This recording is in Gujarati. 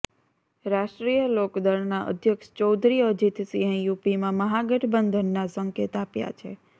રાષ્ટ્રીય લોકદળનાં અધ્યક્ષ ચૌધરી અજિતસિંહે યુપીમાં મહાગઠબંધનનાં સંકેત આપ્યા છે